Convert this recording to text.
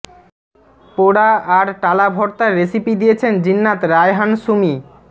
পোড়া আর টালা ভর্তার রেসিপি দিয়েছেন জিন্নাত রায়হান সুমী